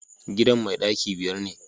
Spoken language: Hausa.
gidan mai daki biyar ne